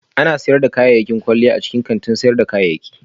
Ana sayar da kayan kwalliya a cikin kantin sayar da kayayyaki